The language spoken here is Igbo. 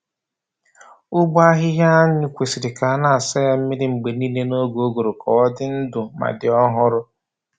Ụgbọ ahịhịa anyụ kwesịrị ka a na-asa ya mmiri mgbe niile n’oge ụgụrụ ka ọ dị ndụ ma dị ọhụrụ.